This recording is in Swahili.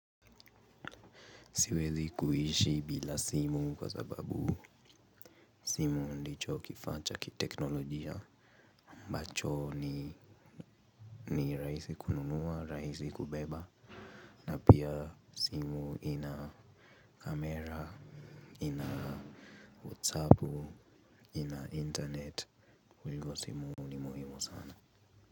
Siwezi kuishi bila simu kwa sababu simu ndicho kifaacha kiteknolojia aMbacho ni rahisi kununua rahisi kubeba. Pia simu ina kamera ina whatsappu ina internet kwa hivyo simu ni muhimu sana.